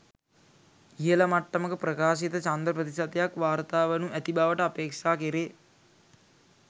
ඉහල මට්ටමක ප්‍රකාශිත ඡන්ද ප්‍රතිශතයක් වාර්තා වනු ඇති බවට අපේක්ෂා කෙරේ.